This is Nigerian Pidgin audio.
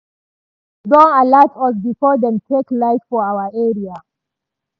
news don alat us before dem take light for our area.